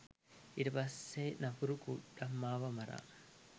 ඊට පස්සේ නපුරු කුඩම්මව මරා